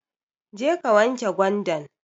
Jeka wanke gwandan